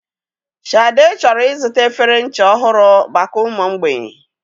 Shade chọrọ ịzụta efere ncha ọhụrụ maka ụmụ mgbei.